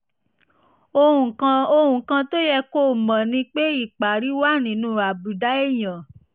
ohun kan ohun kan tó yẹ kó o mọ̀ ni pé ìpárí wà nínú àbùdá èèyàn